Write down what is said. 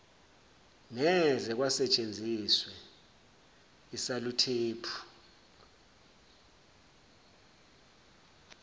ngeze kwasentshenziswe isaluthephu